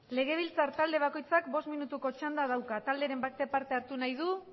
legebiltzar talde bakoitzak bost minutuko txanda dauka talderen batek parte hartu nahi du